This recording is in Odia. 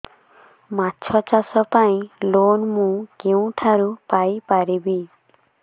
ମାଛ ଚାଷ ପାଇଁ ଲୋନ୍ ମୁଁ କେଉଁଠାରୁ ପାଇପାରିବି